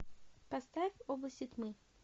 поставь области тьмы